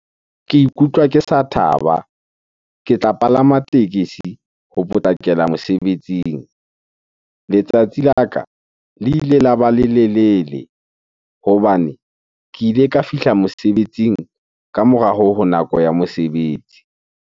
Ke ikutlwa ke sa thaba, ke tla palama tekesi ho potlakela mosebetsing. Letsatsi la ka le ile la ba lelelele hobane ke ile ka fihla mosebetsing ka mora ho nako ya mosebetsi.